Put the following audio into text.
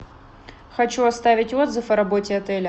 хочу оставить отзыв о работе отеля